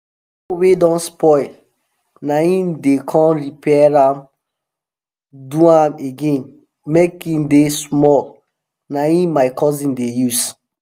hoe wey don spoil na em dem con repair am do am again make em dey small na em my cousin dey use